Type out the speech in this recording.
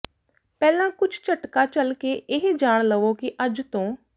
ਪਹਿਲਾਂ ਕੁਝ ਝਟਕਾ ਝੱਲ ਕੇ ਇਹ ਜਾਣ ਲਵੋ ਕਿ ਅੱਜ ਤੋਂ